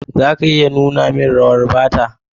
Za ka iya nuna min rawa Bata?